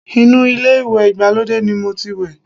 Inú ilé ìwẹ̀ ìgbàlódé ni mo ti wẹ̀